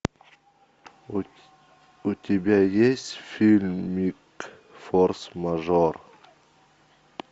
у тебя есть фильмик форс мажор